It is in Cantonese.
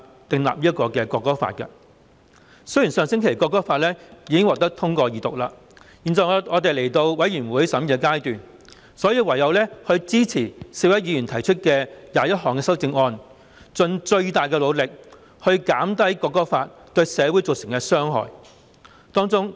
《條例草案》的二讀議案已在上星期獲得通過，現時已進入全體委員會審議階段，我們唯有支持4位議員提出的21項修正案，盡最大努力減低《條例草案》對社會造成的傷害。